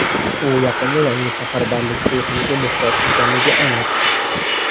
u yaqinda yangi safarbarlik to‘lqiniga muhtoj ekanligi aniq.